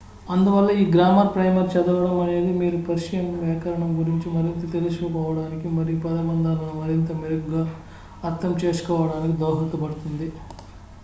అందువల్ల ఈ grammar primer చదవడం అనేది మీరు పర్షియన్ వ్యాకరణం గురించి మరింత తెలుసుకోవడానికి మరియు పదబంధాలను మరింత మెరుగ్గా అర్థం చేసుకోవడానికి దోహదపడుతుంది